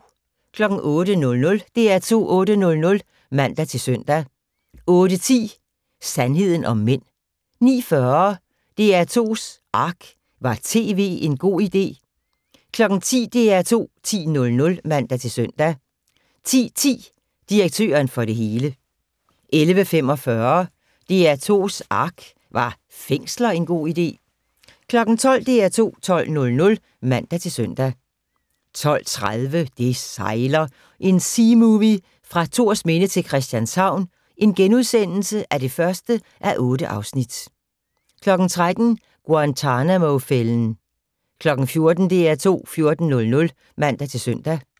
08:00: DR2 8:00 (man-søn) 08:10: Sandheden om mænd 09:40: DR2's Ark - Var tv en god idé? 10:00: DR2 10:00 (man-søn) 10:10: Direktøren for det hele 11:45: DR2's ARK - Var fængsler en god idé? 12:00: DR2 12:00 (man-søn) 12:30: Det sejler - en seamovie fra Thorsminde til Christianshavn (1:8)* 13:00: Guantanamo-fælden 14:00: DR2 14:00 (man-søn)